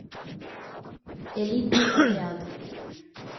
элитный отряд